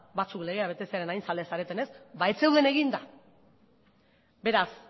batzuk legea betetzearen hain zaleak zaretenez ba ez zeuden eginda beraz